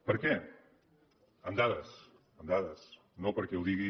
per què amb dades amb dades no perquè ho digui